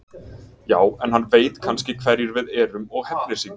Já, en hann veit kannski hverjir við erum og hefnir sín.